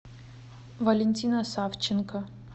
валентина савченко